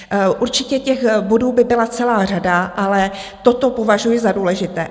Určitě těch bodů by byla celá řada, ale toto považuji za důležité.